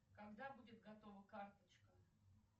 когда будет готова карточка